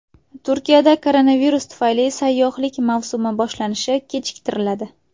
Turkiyada koronavirus tufayli sayyohlik mavsumi boshlanishi kechiktiriladi.